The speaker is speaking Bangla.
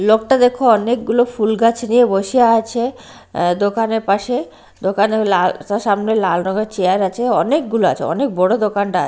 লোকটা দেখো অনেকগুলো ফুল গাছ নিয়ে বসে আছে আঃ দোকানের পাশে দোকানে ওই লাল সামনে লাল রঙের চেয়ার আছে অনেকগুলা আছে অনেক বড়ো দোকানটা--